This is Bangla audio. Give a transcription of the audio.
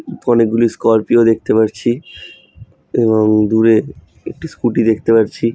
অনেকগুলো স্করপিও দেখতে পারছি এবং দূরে একটি স্কুটি দেখতে পারছি।